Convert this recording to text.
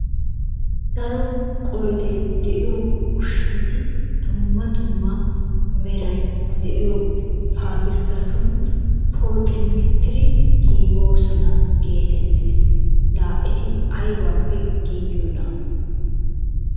Daro qoyiday de"iyo ushshati dumma dumma meray de'iyo paapirkatun pooximmettidi giigoosona geetettes. Laa eti ayiibaappe giigiyona?